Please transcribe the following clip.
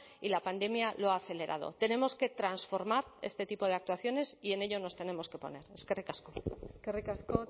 y la pandemia lo ha acelerado tenemos que transformar este tipo de actuaciones y en ello nos tenemos que poner eskerrik asko eskerrik asko